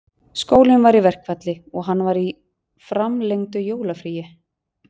Skólinn var í verkfalli og hann var í framlengdu jólafríi